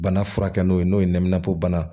Bana furakɛ n'o ye n'o ye nɛnɛpobana